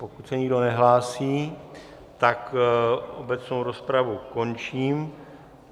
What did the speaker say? Pokud se nikdo nehlásí, tak obecnou rozpravu končím.